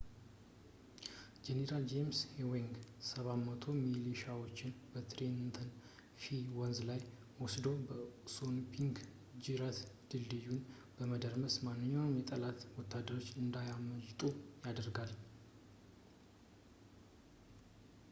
ጄኔራል ጄምስ ኤዊንግ 700 ሚሊሻዎችን በትሬንተን ፌሪ ወንዝ ላይ ወስዶ በአሶንፒንክ ጅረት ድልድዩን በመረከብ ማንኛውንም የጠላት ወታደሮች እንዳያመልጡ ያደረጋል